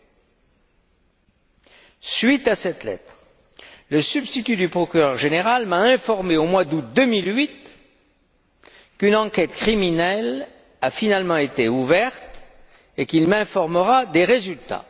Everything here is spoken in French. À la suite de cette lettre, le substitut du procureur général m'a informé, au mois d'août 2008, qu'une enquête criminelle avait finalement été ouverte et qu'il m'informerait des résultats.